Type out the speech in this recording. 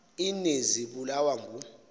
ini zibulawa ngu